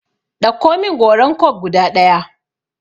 Ɗauko min goran coke guda ɗaya!